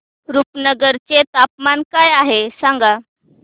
रुपनगर चे तापमान काय आहे सांगा